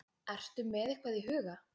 Ertu með eitthvað í huga?